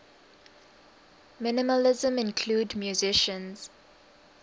minimalism include musicians